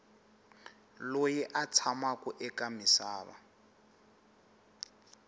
loyi a tshamaku eka misava